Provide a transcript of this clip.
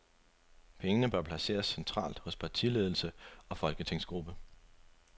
Pengene bør placeres centralt hos partiledelse og folketingsgruppe.